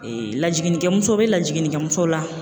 lajiginnikɛmuso bɛ lajiginnikɛmuso la